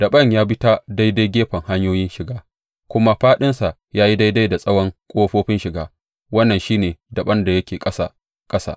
Daɓen ya bi ta daidai gefen hanyoyin shiga, kuma faɗinsa ya yi daidai da tsawon ƙofofin shiga; wannan shi ne daɓen da yake ƙasa ƙasa.